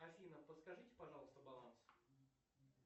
афина подскажите пожалуйста баланс